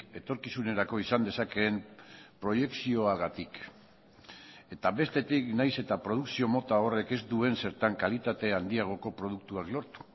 etorkizunerako izan dezakeen proiekzioagatik eta bestetik nahiz eta produkzio mota horrek ez duen zertan kalitatea handiagoko produktuak lortu